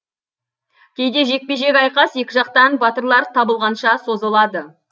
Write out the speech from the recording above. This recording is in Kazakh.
кейде жекпе жек айқас екі жақтан батырлар табылғанша созылады